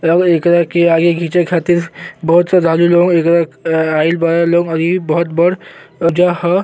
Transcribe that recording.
एकरा के आगे घींचे के खातिर बहुत श्रद्धालु लोग आइल बाड़े लोग औरि बहुत बड़ जह।